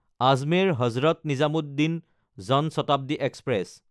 আজমেৰ–হজৰত Nizamuddin Jan Shatabdi express